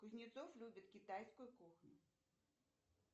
кузнецов любит китайскую кухню